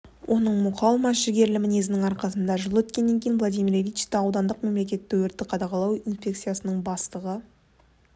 оның мұқалмас жігерлі мінезінің арқасында жыл өткеннен кейін владимир ильичті аудандық мемлекеттік өртті қадағалау инспекциясының бастығы